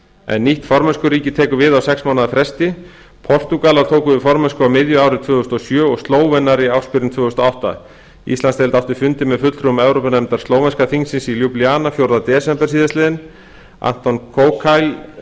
en nýtt formennskuríki tekur við á sex mánaða fresti portúgalar tóku við formennsku á miðju ári tvö þúsund og sjö og slóvenar í ársbyrjun tvö þúsund og átta íslandsdeild átti fund með fulltrúum evrópunefndar slóvenska þingsins í ljúblíana fjórða desember anton